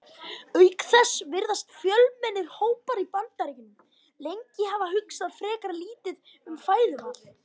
Auk þess virðast fjölmennir hópar í Bandaríkjunum lengi hafa hugsað frekar lítið um fæðuval.